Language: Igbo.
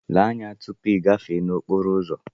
Lee anya tupu ịgafe okporo ụzọ!